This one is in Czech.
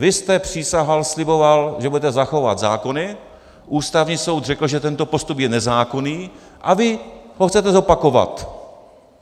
Vy jste přísahal, sliboval, že budete zachovávat zákony, Ústavní soud řekl, že tento postup je nezákonný, a vy ho chcete zopakovat.